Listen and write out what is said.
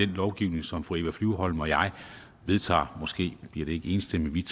lovgivning som fru eva flyvholm og jeg vedtager måske bliver det ikke enstemmigt